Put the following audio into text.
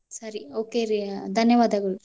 Okay ರೀ ದನ್ಯವಾದಗಳು.